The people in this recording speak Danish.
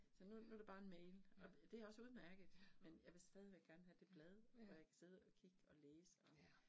Så nu nu det bare en mail, og det også udmærket, men jeg vil stadigvæk gerne have det blad, hvor jeg kan sidde og kigge og læse og